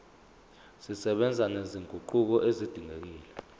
zisebenza nezinguquko ezidingekile